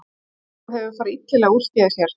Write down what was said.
Eitthvað hefur farið illilega úrskeiðis hér